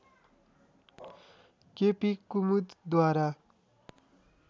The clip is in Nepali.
केपी कुमुदद्वारा